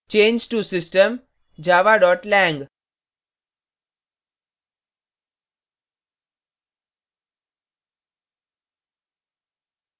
change to system java lang